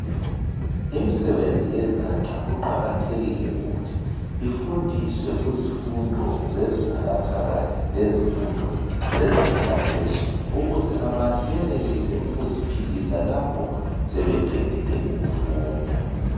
Imsebenzi yezandla kuqakathekile ukuthi ifundiswe ku zifundo zezinga laphakathi lezifundo zezinga laphezulu ukuze abantu benelise ukuziphilisa lapho sebeqedile ukufunda.